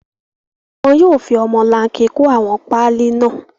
Wọn yóò fi ọmọlanke kó àwọn páálí náà.